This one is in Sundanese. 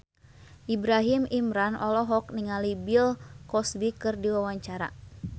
Ibrahim Imran olohok ningali Bill Cosby keur diwawancara